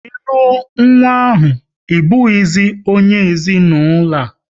Ịlụ ọ nwa ahụ, ị bụghịzi onye ezinaụlọ a!